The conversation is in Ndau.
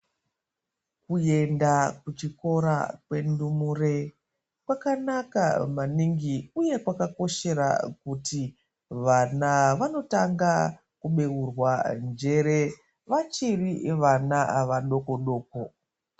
Kuenda kuchikora kwendumure kwakanaka maningi uye kwakakoshera kuti vana vanotanga kubeurwa njere vachiri vana vadoko-doko.